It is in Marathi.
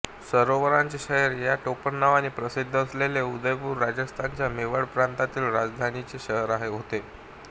सरोवरांचे शहर ह्या टोपणनावाने प्रसिद्ध असलेले उदयपूर राजस्थानच्या मेवाड प्रांताच्या राजधानीचे शहर होते